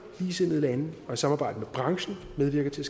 ligesindede lande og i samarbejde med branchen medvirker til